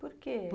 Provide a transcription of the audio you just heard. Por que?